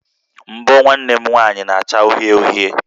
Mbọ̀ nwanne m nwanyị na-acha uhie uhie